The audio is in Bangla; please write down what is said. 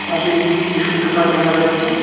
পাশে একটি টিস্যু পেপার দেখা যাচ্ছে।